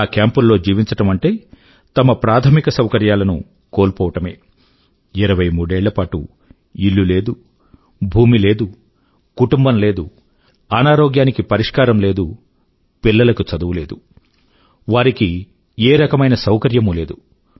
అలా కేంపుల్లో జీవించడం అంటే తమ ప్రాథమిక సౌకర్యాల ను కోల్పోవడమే 23 ఏళ్ల పాటు ఇల్లు లేదు భూమి లేదు కుటుంబం లేదు అనారోగ్యానికి పరిష్కారం లేదు పిల్లల కు చదువు లేదు వారికి ఏ రకమైన సౌకర్యమూ లేదు